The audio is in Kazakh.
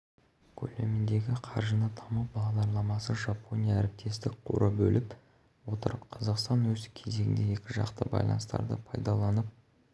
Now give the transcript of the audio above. көлеміндегі қаржыны даму бағдарламасы жапония әріптестік қоры бөліп отыр қазақстан өз кезегінде екіжақты байланыстарды пайдаланып